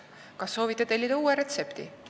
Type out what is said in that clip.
Kas soovite tellida uue retsepti?